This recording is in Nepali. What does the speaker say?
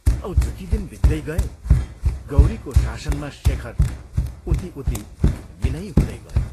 औ जति दिन बित्दै गए गौरीको शासनमा शेखर उति उति विनयी हुँदै गयो।